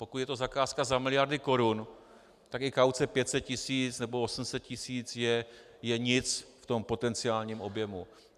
Pokud je to zakázka za miliardy korun, tak i kauce 500 tisíc nebo 800 tisíc je nic v tom potenciálním objemu.